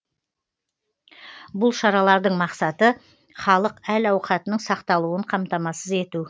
бұл шаралардың мақсаты халық әл ауқатының сақталуын қамтамасыз ету